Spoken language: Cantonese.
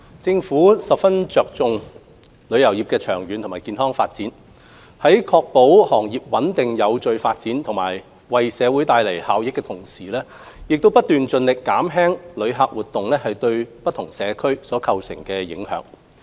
政府十分重視旅遊業的長遠健康發展，在確保行業穩定有序發展及為社會帶來效益的同時，亦不斷盡力減輕旅客活動對社區構成的影響。